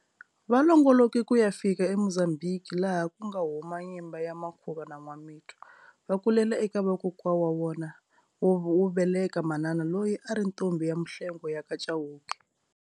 Va longoloke kuya fika eMozambique laha ku nga huma nyimba ya Makhuva na Nwamitwa. Vakulela eka vakokwa wa vona mbeleka manana loyi a ri ntombhi ya Mhlengwe yaka Cawuke.